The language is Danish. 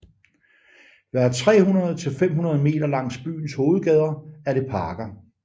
Hver 300 til 500 meter langs byens hovedgader er det parker